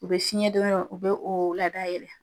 U be fiɲɛ don yɔrɔ, u be o ladayɛlɛ.